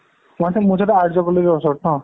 আৰ্য college ৰ ওচৰত ন?